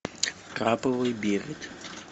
краповый берет